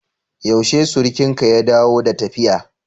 Yaushe surukinka ya dawo da tafiya?